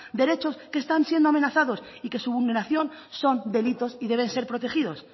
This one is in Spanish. derechos que están siendo amenazados y que su vulneración son delitos y deben ser protegidos